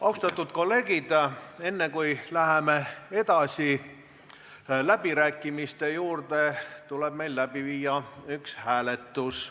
Austatud kolleegid, enne kui läheme edasi läbirääkimiste juurde, tuleb meil läbi viia üks hääletus.